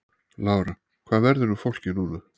Lára: Hvað verður um fólkið núna?